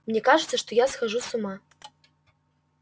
мне кажется что я схожу с ума